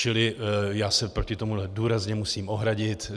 Čili já se proti tomu důrazně musím ohradit.